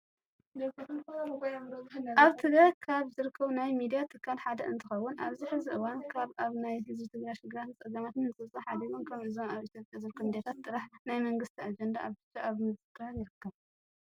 ኣብ ትግባይ ካብ ዝርከቡ ናይ ሚዲያ ትካል ሓደ እንትኸውን ኣብዚ ሕዚ እዋን ካብ ኣብ ናይ ህዝቢ ትግራይ ሽግራትን ፀገማትን ምፅብፃብ ሓዲጎም ከም እዞም ኣብ ኢትዮጵያ ዝርከቡ ሚዲያታት ጥራሕ ናይ መንግስቲ ኣጀንዳ ብቻ ኣብ ምዝጋር ይርከብ።